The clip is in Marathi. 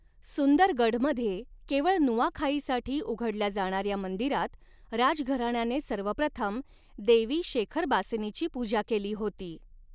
सुंदरगढमध्ये, केवळ नुआखाईसाठी उघडल्या जाणाऱ्या मंदिरात राजघराण्याने सर्वप्रथम देवी शेखरबासिनीची पूजा केली होती.